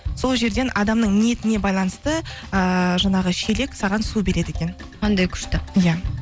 сол жерден адамның ниетіне байланысты ыыы жаңағы шелек саған су береді екен қандай күшті иә